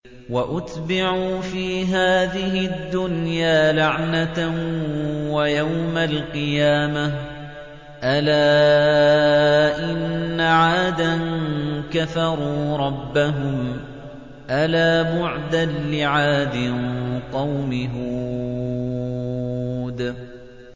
وَأُتْبِعُوا فِي هَٰذِهِ الدُّنْيَا لَعْنَةً وَيَوْمَ الْقِيَامَةِ ۗ أَلَا إِنَّ عَادًا كَفَرُوا رَبَّهُمْ ۗ أَلَا بُعْدًا لِّعَادٍ قَوْمِ هُودٍ